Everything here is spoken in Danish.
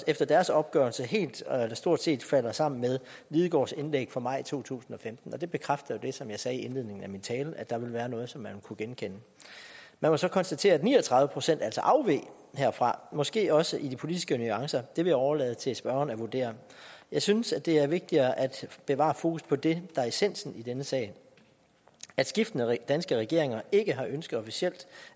efter deres opgørelse helt eller stort set falder sammen med lidegaards indlæg fra maj to tusind og femten og det bekræfter jo det som jeg sagde i indledningen af min tale at der ville være noget som man kunne genkende man må så konstatere at ni og tredive procent altså afveg herfra måske også i de politiske nuancer det vil jeg overlade til spørgeren at vurdere jeg synes det er vigtigere at bevare fokus på det der er essensen i denne sag at skiftende danske regeringer ikke har ønsket officielt